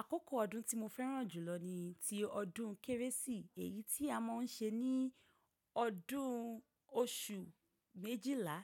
Àkókò ọdún tí mo fẹ́ràn jùlọ ni ti ọdún kérésì. Èyí tí a má ń ṣe ní ọdún oṣù méjìlá